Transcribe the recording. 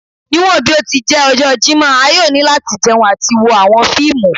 Niwọn bi o ti jẹ ọjọ Jimọ a yoo ni lati jẹun ati wo awọn fiimu